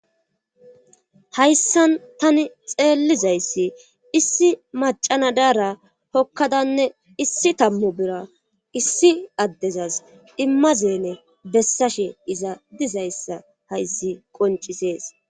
Hayssan tani xeellizayssi issi macana daara hokkadanne issi tammu bira issi addezas immazeene bessashe iza dizayssa hayssi qoncisees